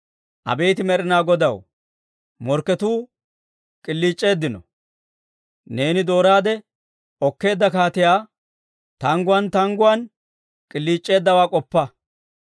Abeet Med'inaa Godaw, morkketuu k'iliic'eeddino; neeni dooraade okkeedda kaatiyaa, tangguwaan tangguwaan k'iliic'eeddawaa k'oppa.